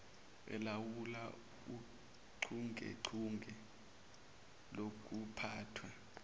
elawula uchungechunge lokuphathwa